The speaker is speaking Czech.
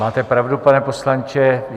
Máte pravdu, pane poslanče.